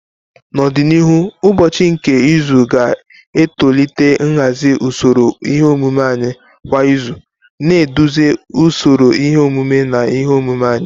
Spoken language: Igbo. N'ọdịnihu, ụbọchị nke izu ga-etolite nhazi usoro ihe omume anyị kwa izu, na-eduzi usoro ihe omume na ihe omume anyị.